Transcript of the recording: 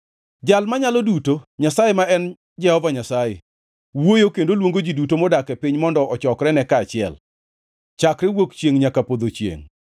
Jal Manyalo Duto, Nyasaye ma en Jehova Nyasaye, wuoyo kendo luongo ji duto modak e piny mondo ochokrene kaachiel, chakre wuok chiengʼ nyaka podho chiengʼ.